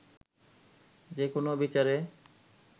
যে কোনো বিচারে